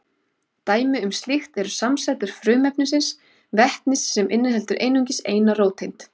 Dæmi um slíkt eru samsætur frumefnisins vetnis sem inniheldur einungis eina róteind.